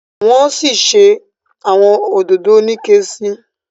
wan sí ṣe awọn òdodo Onike sí.